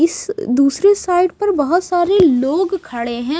इस दूसरे साइड पर बहुत सारे लोग खड़े हैं।